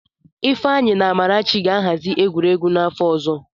Ifeanyi na Amarachi ga-ahazi egwuregwu n'afọ ọzọ.